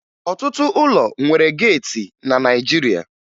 Ọtụtụ ụlọ nwere geeti na Naịjirịa